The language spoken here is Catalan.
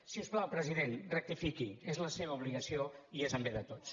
si us plau president rectifiqui és la seva obligació i és en bé de tots